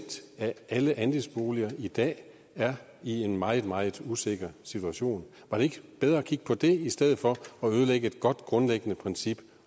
af alle andelsboliger i dag er i en meget meget usikker situation var det ikke bedre at kigge på det i stedet for at ødelægge et godt grundlæggende princip